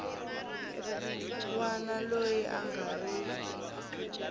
wana loyi a nga ri